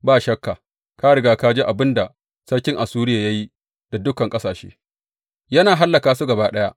Ba shakka ka riga ka ji abin da sarkin Assuriya ya yi da dukan ƙasashe, yana hallaka su gaba ɗaya.